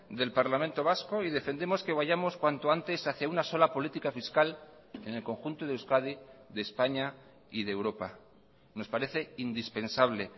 del parlamento vasco y defendemos que vayamos cuanto antes hacía una sola política fiscal en el conjunto de euskadi de españa y de europa nos parece indispensable